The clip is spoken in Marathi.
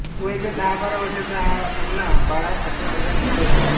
वयाच्या दहाबारा वर्षाचा हा अण्णा बाळा सातव्या वर्गात शिकत होता